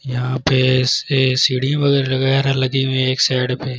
यहां पे से सीढ़ी वगैरा लगाया है लगी हुई हैं एक साइड पे